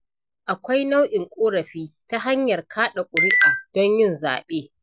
Akwai nau'in ƙorafi na ta hanyar kaɗa ƙuri'a don yin zaɓe.